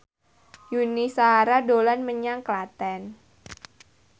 Yuni Shara dolan menyang Klaten